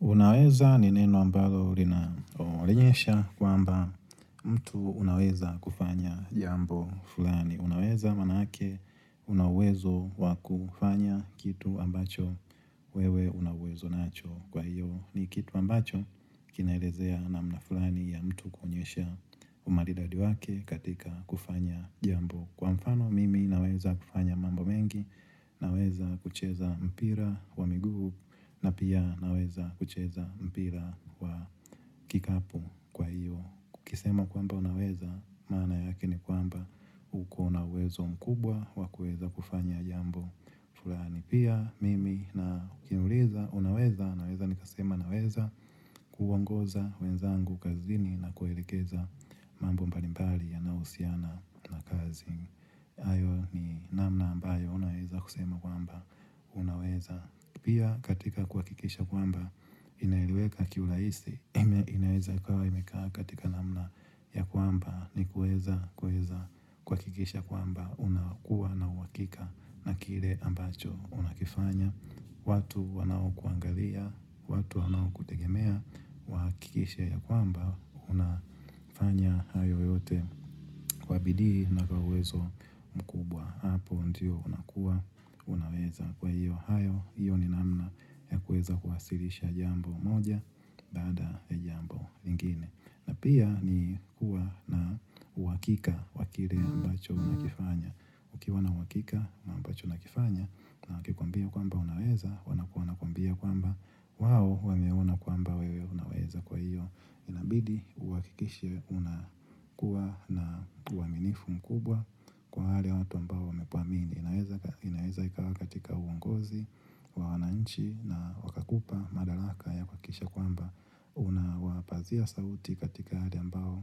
Unaweza ni neno ambalo lina onyesha kwamba mtu unaweza kufanya jambo fulani. Unaweza manaake unauwezo wakufanya kitu ambacho wewe unauwezo nacho kwa hiyo ni kitu ambacho kinaelezea namna fulani ya mtu kuonyesha umaridadi wake katika kufanya jambo. Kwa mfano, mimi naweza kufanya mambo mengi, naweza kucheza mpira wa miguu, na pia naweza kucheza mpira wa kikapu kwa hiyo. Ukisema kwamba unaweza, maana yake ni kwamba uko na uwezo mkubwa, wakuweza kufanya jambo fulani. Pia, mimi na ukiniuliza, unaweza, naweza nikasema, naweza kuongoza wenzangu kazini na kuelekeza mambo mbalimbali yanayo husiana na kazi. Hayo ni namna ambayo unaweza kusema kwamba. Unaweza. Pia katika kuhakikisha kwamba, inaeleweka kiurahisi, inaweza kawa imekaa katika namna ya kwamba, ni kueza kweza kuhakikisha kwamba. Unakuwa na uhakika na kile ambacho unakifanya. Watu wanao kuangalia, watu wanao kutegemea, wahakikishe ya kwamba unafanya hayo yote kwa bidii na kwa uwezo mkubwa Hapo ndio unakua, unaweza kwa hiyo hayo, hiyo ni namna ya kweza kwasirisha jambo moja baada ya jambo lingine na pia ni kuwa na uhakika wa kile ambacho unakifanya ukiwa na uhakika wa ambacho unakifanya na wakikwambia kwamba unaweza wana wana kwambia kwamba wao wameona kwamba wewe unaweza kwa hiyo inabidi uhakikishe unakuwa na uaminifu mkubwa kwa wale watu ambao wamekuamini inaeza ikawa katika uongozi, wa wananchi na wakakupa madalaka ya kuhakisha kwamba unapazia sauti katika yale ambayo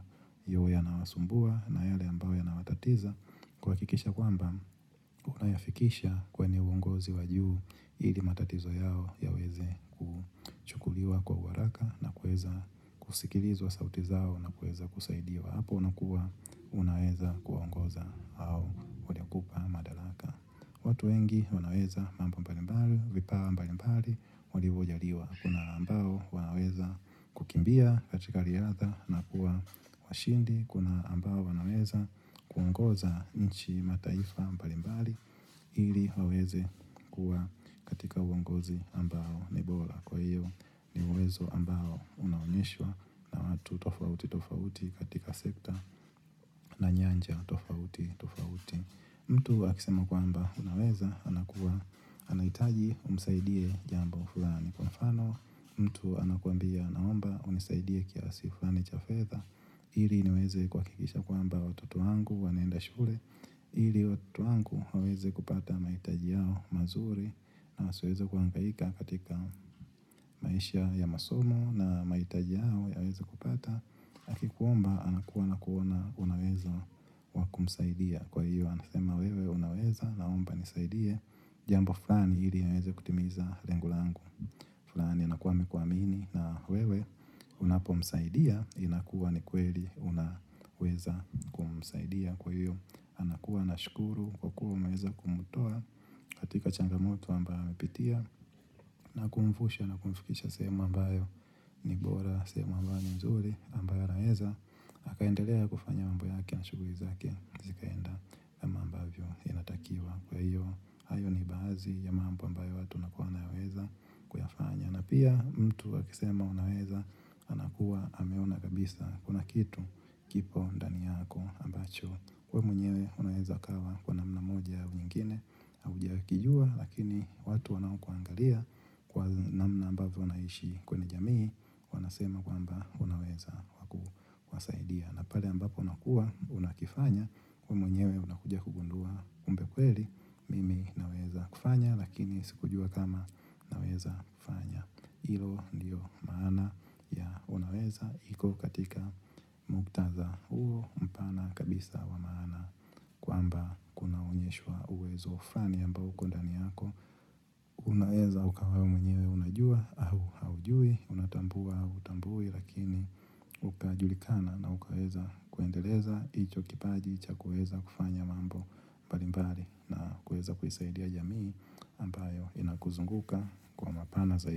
huwa yanawasumbua na yale ambayo yanawatatiza kuhakikisha kwamba, unayafikisha kwenye uongozi wa juu ili matatizo yao yaweze kuchukuliwa kwa uharaka na kuweza kusikilizwa sauti zao na kuweza kusaidiwa. Apo unakua, unaweza kuongoza hao waliikupa madalaka. Watu wengi, wanaweza mambo mbalimbali, vipawa mbalimbali, walivo jaliwa. Kuna ambao wanaweza kukimbia katika riadha na kuwa washindi Kuna ambao wanaweza kuongoza nchi mataifa mbalimbali ili waweze kukuwa katika uongozi ambao ni bora Kwa hiyo ni uwezo ambao unaonyeshwa na watu tofauti tofauti katika sekta na nyanja tofauti tofauti mtu akisema kwamba unaweza anakua anahitaji umsaidie jambo ufulani kwa mfano mtu anakuambia naomba unisaidie kiasi fulani cha fedha ili niweze kuhakikisha kwamba watutu wangu wanaenda shule ili watutu wangu waweze kupata mahitaji yao mazuri na asiweze kuangaika katika maisha ya masomo na maitaji yao ya weze kupata na akikuomba anakuwa anakuona unauwezo kumsaidia kwa hiyo amesema wewe unaweza naomba nisaidie jambo fulani ili niweze kutimiza lengo langu fulani inakuwa amekuamini na wewe unapomsaidia inakuwa ni kweli unaweza kumsaidia kwa hiyo anakuwa na shukuru kwa kuwa umweza kumtoa katika changamoto ambayo amepitia na kumvusha na kumfikisha sehemu ambayo ni bora sehemu ambayo ni mzuri ambayo anaeza akaendelea kufanya mambo yake na shuguli zake zikaenda kama ambavyo inatakiwa kwa hiyo hayo ni baadhi ya mambo ambyao watu wanakuwa wanaweza kuyafanya na pia mtu akisema unaweza anakuwa ameona kabisa kuna kitu kipo ndani yako ambacho we mwenyewe unaweza kawa kwa namna moja u nyingine haujakijua lakini watu wanao kuangalia kwa namna ambavyo unaishi kwenye jamii wanasema kwamba unaweza. Wasaidia na pale ambapo unakua unakifanya wemwenyewe unakuja kugundua kumbe kweli mimi naweza kufanya lakini sikujua kama naweza fanya iyo ndio maana ya Unaweza iko katika muktadha huo mpana kabisa wa maana kwamba kunaonyeshwa uwezo fulani uko ndani yako Unaweza ukawa wewe mwenye unajua au haujui, unatambua au hutambui lakini Ukaajulikana na ukaweza kuendeleza hicho kipaji cha kuweza kufanya mambo mbali na kaweza kuisaidia jamii ambayo inakuzunguka kwa Mapana zaidi.